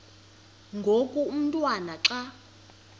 ngoku umotwana xa